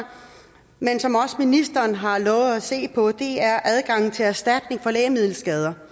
ministeren har også lovet at se på det er om adgangen til erstatning for lægemiddelskader